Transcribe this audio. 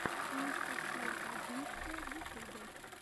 анастасия багинская в ютюбе